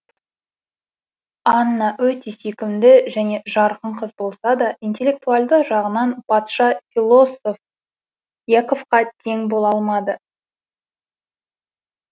анна өте сүйкімді және жарқын қыз болса да интеллектуалді жағынан патша философ яковқа тең бола алмады